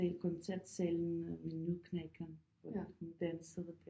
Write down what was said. Det koncertsalen med med Nøddeknækkeren hvor at hun dansede der